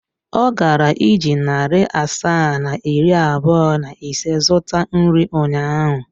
Ọ gara iji narị asaa na iri abụọ na ise zụta nri ụnyaahụ.